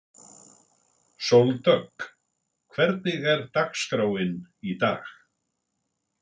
Sóldögg, hvernig er dagskráin í dag?